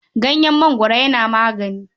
Ganyen mangoro yana magani.